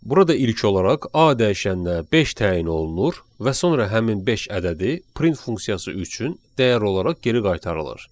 Burada ilk olaraq A dəyişəninə beş təyin olunur və sonra həmin beş ədədi print funksiyası üçün dəyər olaraq geri qaytarılır.